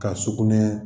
Ka sugunɛ